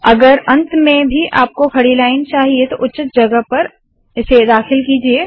अगर अंत में भी आपको खड़ी लाइन चाहिए उचित जगह पर दाखिल कीजिये